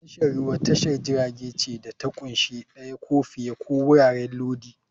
Tashar ruwa tashar jiragen ce da ta ƙunshi ɗaya ko fiye ko wuraren lodi.